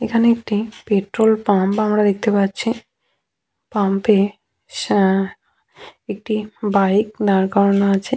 এখানে একটি petrol pump আমরা দেখতে পাচ্ছি পাম্প এ একটি বাইক দাঁড় করানো আছে।